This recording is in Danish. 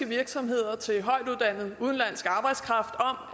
virksomheder til højtuddannet udenlandsk arbejdskraft om